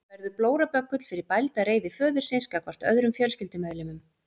Barnið verður blóraböggull fyrir bælda reiði föðurins gagnvart öðrum fjölskyldumeðlimum.